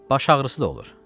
Baş ağrısı da olur.